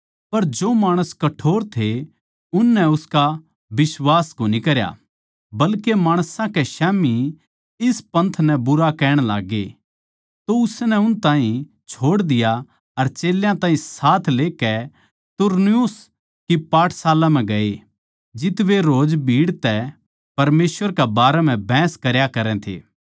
पर जो माणसां कठोर थे उननै उसका बिश्वास कोनी करया बल्के माणसां कै स्याम्ही इस पंथ नै बुरा कहण लाग्गे तो उसनै उन ताहीं छोड़ दिया अर चेल्यां ताहीं साथ लेकै तुरन्नुस की पाठशाला म्ह गये जित्त वे रोज भीड़ तै परमेसवर के बारें म्ह बहस करया करै थे